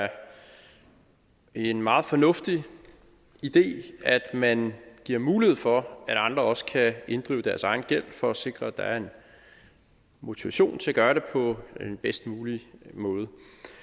er en meget fornuftig idé at man giver mulighed for at andre også kan inddrive gæld for at sikre at der er en motivation til at gøre det på den bedst mulige måde